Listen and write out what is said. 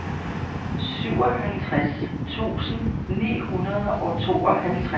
syvoghalvtreds tusind ni hundrede og tooghalvtreds